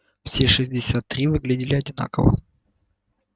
все шестьдесят три выглядели одинаково